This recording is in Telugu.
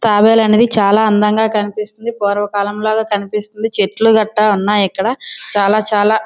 తాబేలు అనేది చాలా అందంగా కనిపిస్తుంది. పూర్వకాలంలాగ కనిపిస్తుంది. చెట్లు కట్ట ఉన్నాయి. ఇక్కడ చాలా చాలా --